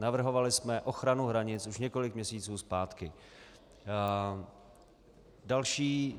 Navrhovali jsme ochranu hranic už několik měsíců zpátky.